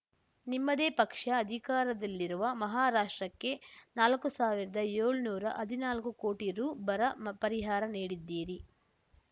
ನಿಮ್ಮದೇ ಪಕ್ಷ ಅಧಿಕಾರದಲ್ಲಿರುವ ಮಹಾರಾಷ್ಟ್ರಕ್ಕೆ ನಾಲ್ಕು ಸಾವಿರ್ದಾಏಳ್ನೂರಾ ಹದ್ನಾಲ್ಕು ಕೋಟಿ ರು ಬರ ಪರಿಹಾರ ನೀಡಿದ್ದೀರಿ